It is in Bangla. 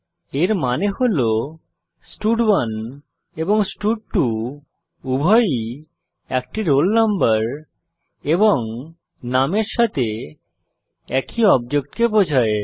এর মানে হল স্টাড1 এবং স্টাড2 উভয়ই একটি রোল নম্বর এবং নামের সাথে একই অবজেক্টকে বোঝায়